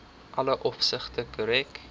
alle opsigte korrek